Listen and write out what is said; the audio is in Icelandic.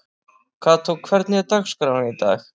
Kató, hvernig er dagskráin í dag?